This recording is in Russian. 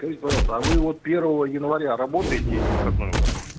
скажите пожалуйста а вы вот первого января работаете или выходной у вас